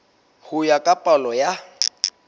ho ya ka palo ya